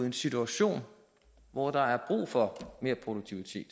en situation hvor der er brug for mere produktivitet